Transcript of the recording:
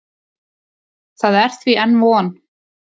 Það er því enn von.